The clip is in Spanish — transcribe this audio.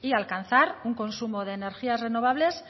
y alcanzar un consumo de energías renovables